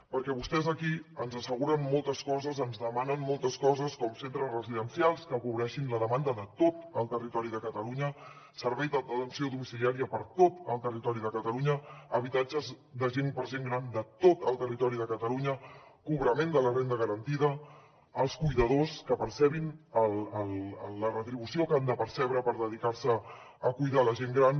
perquè vostès aquí ens asseguren moltes coses ens demanen moltes coses com centres residencials que cobreixin la demanda de tot el territori de catalunya servei d’atenció domiciliària per a tot el territori de catalunya habitatges per a gent gran de territori de catalunya cobrament de la renda garantida que els cuidadors percebin la retribució que han de percebre per dedicar se a cuidar la gent gran